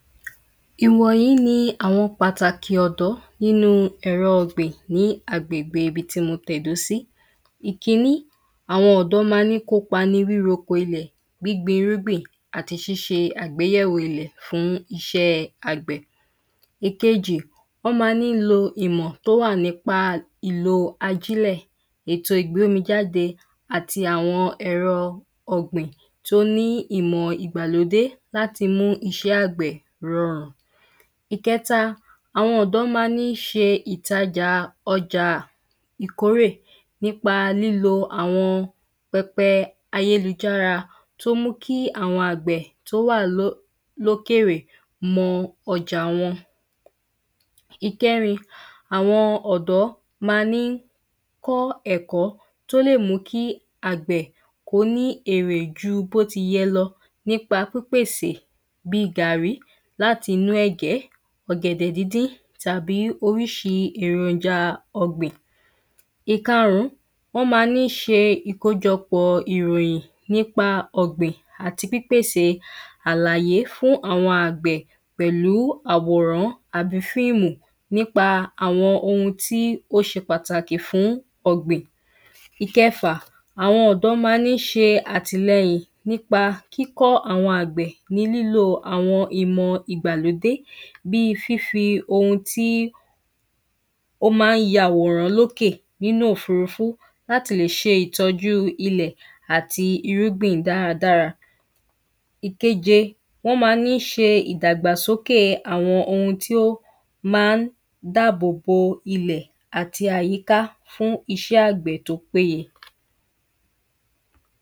Ìwọ̀nyí ni àwọn pàtàkì ọ̀dọ́ nínú ẹ̀rọ ọ̀gbìn ní agbègbè ibi tí mo tẹ̀dó sí Ìkíní àwọn ọ̀dọ́ má ń ní kópa nínú ríroko ilẹ̀, gbíngbín irúgbìn, àti ṣíṣe àgbéyẹ̀wò ilẹ́ fún iṣẹ́ àgbẹ̀ Ìkejì wọ́n má ń ní lo ìmọ̀ tó wà nípa ìlò ajílẹ̀, ètó ìgbómijáde àti àwọn ẹ̀ro ọ̀gbìn tó ní ìmọ̀ ìgbàlódé láti mú iṣẹ́ àgbẹ̀ rọrùn. Ìkẹta, àwọn ọ̀dọ́ má ń ní ṣe ọjà ìtajà ìkórè nípa lílo àwọn pẹpẹ ayélujára tó ń mú kí àwọn àgbẹ̀ tó wà ló lókèrè mo ọjà wọn. Ìkẹ́rin, àwọn ọ̀dọ́ ma ní kọ́ ẹ̀kọ́ tó lè mú kí àgbẹ̀ kó ní èrè ju bó tiyẹ lọ nípa pípèsè bí gàrrí láti inú ẹ̀gẹ́, ọ̀gẹ̀dẹ̀ díndín, tàbí oríṣì ẹ̀ròjà ọ̀gbìn. Ìkarùn, wọ́n má ní ṣe ìkójọpò ìròyìn nípa ọ̀gbìn àti pípèsè àlàyé fún àwọn àgbẹ̀ pẹ̀lú àwòrán àbí fíìmù nípa àwọn ohun tó ṣe pàtàkì fún ọ̀gbìn. Ìkẹfà, àwọn ọ̀dọ́ má ní ṣe àtìleyìn nípa kíkọ́ àwọn àgbẹ̀ ní lílò àwọn ìmọ̀ ìgbàlódé. Bí fífi ohun tí ó má ń ya àwòrán lókè nínú òfurufú láti le ṣe ìtọ́jú ilẹ̀ àti irúgbìn dáradára. Ìkeje, wọ́n má ní ṣe ìdàgbàsókè àwọn ohun tí ó má ń dáàbò bo ilẹ́ àti àyíká fún iṣẹ́ àgbẹ̀ tó péye.